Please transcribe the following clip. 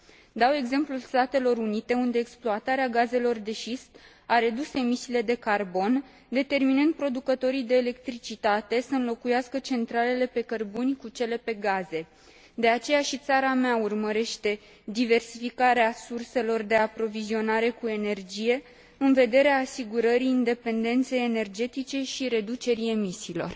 Dau exemplul Statelor Unite, unde exploatarea gazelor de șist a redus emisiile de carbon, determinând producătorii de electricitate să înlocuiască centralele pe cărbuni cu cele pe gaze. De aceea și țara mea urmărește diversificarea surselor de aprovizionare cu energie, în vederea asigurării independenței energetice și reducerii emisiilor.